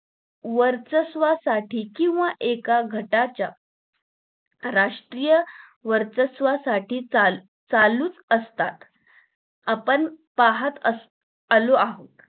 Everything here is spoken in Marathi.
वर्चस्वासाठी किंवा एका घाटाच्या राष्ट्रीय वर्चस्वासाठी चाल चालूच असतात आपण पाहत आ आलो आहोत